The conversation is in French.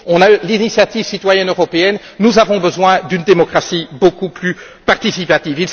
On a l'initiative citoyenne européenne, nous avons besoin d'une démocratie beaucoup plus participative.